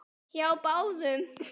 Hjá báðum.